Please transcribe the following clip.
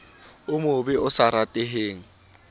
o mobe o sa rateheng